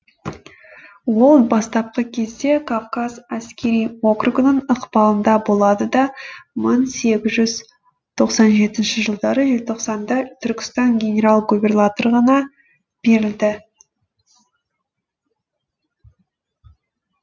ол бастапқы кезде кавказ әскери округінің ықпалында болды да мың сегіз жүз тоқсан жетінші жылдары желтоқсанда түркістан генерал губернаторлығына берілді